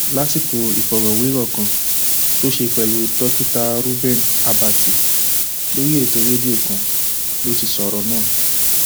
lásìkò ìfọrọwérọ kan tó ṣe pẹlú dókítà rèubeni àbàtì lórí ètò rédíò kan ló ti sọrọ náà